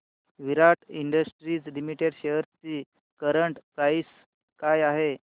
विराट industries limited shares ची current price काय आहे